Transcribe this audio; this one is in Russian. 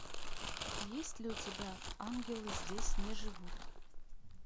есть ли у тебя ангелы здесь не живут